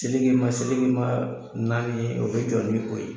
Selekema selekema naani ye o be jɔ ni o ye